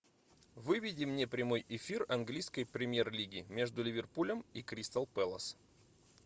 выведи мне прямой эфир английской премьер лиги между ливерпулем и кристал пэлас